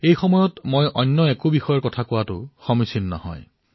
এনে ক্ষেত্ৰত মই অন্য বিষয়ে কথা পতাটো উচিত নহব